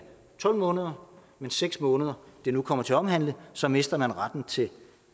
tolv måneder men seks måneder det nu kommer til at omhandle så mister man retten til